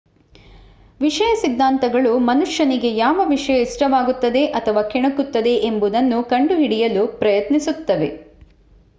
ವಿಷಯ ಸಿದ್ದಾಂತಗಳು ಮನುಷ್ಯನಿಗೆ ಯಾವ ವಿಷಯ ಇಷ್ಟವಾಗುತ್ತದೆ ಅಥವಾ ಕೆಣಕುತ್ತದೆ ಎಂಬುದನ್ನು ಕಂಡುಹಿಡಿಯಲು ಪ್ರಯತ್ನಿಸುತ್ತವೆ